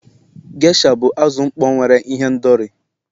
Gesha bụ azụ mkpọ nwere ihendori.